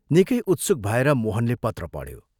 निकै उत्सुक भएर मोहनले पत्र पढ्यो।